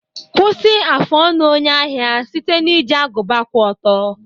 Kwụsị afụ ọnụ onye ahịa site na iji agụba kwụ ọtọ.